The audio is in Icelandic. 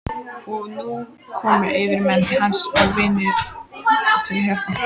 Og nú komu yfirmenn hans og vinir til hjálpar.